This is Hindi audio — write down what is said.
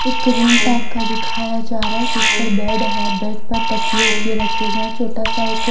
एक रूम टाइप का दिखाया जा रहा है जिस पर बैड है बैड पर तकिए वकीए रखे गए हैं छोटा सा एक --